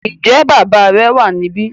Ǹjẹ́ bàbá rẹ wà níbí